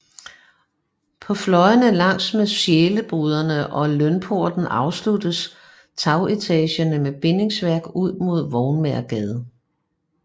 På fløjene langs med Sjæleboderne og Lønporten afsluttes tagetagerne med bindingsværk ud mod Vognmagergade